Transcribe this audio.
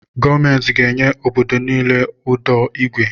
Gọọmenti ga enye obodo niile ụdọ igwe